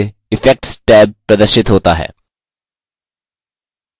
default रूप से effects tab प्रदर्शित होता है